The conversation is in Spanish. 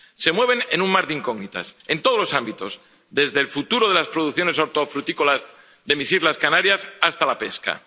Se mueven en un mar de incógnitas en todos los ámbitos, desde el futuro de las producciones hortofrutícolas de mis islas Canarias hasta la pesca.